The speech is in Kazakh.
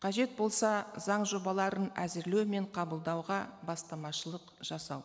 қажет болса заң жобаларын әзірлеу мен қабылдауға бастамашылық жасау